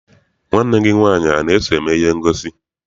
Nwanne gị nwaanyị ana-eso eme ihe ngosi?